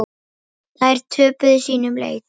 Þær töpuðu sínum leik.